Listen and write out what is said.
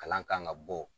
Kalan kan ka bɔ